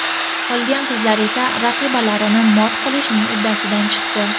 Qolgan qizlar esa raqibalarini mot qilishning uddasidan chiqdi.